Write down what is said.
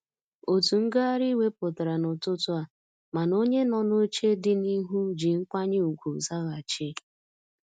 Otu ngagharị iwe pụtara n'ụtụtụ a, mana onye nọ n'oche dị n'ihu ji nkwanye ugwu zaghachi.